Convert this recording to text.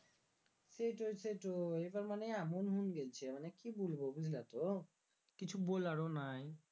সেটই সেটই এবার মানে এমন হুং গেল্ছে মানে কি বুলবো বুঝলা তো কিছু বোলারও নাই